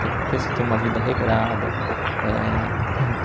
Tem porquê você ter uma vida regrada. Eh hum